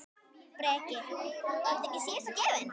Breki: Er þetta síðasta gjöfin?